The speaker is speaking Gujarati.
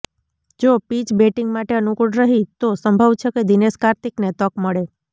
જો પિચ બેટિંગ માટે અનુકૂળ રહી તો સંભવ છે કે દિનેશ કાર્તિકને તક મળે